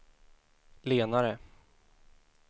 lenare